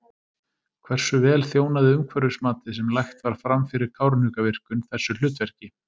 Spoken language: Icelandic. Hversu vel þjónaði umhverfismatið sem lagt var fram fyrir Kárahnjúkavirkjun þessu hlutverki?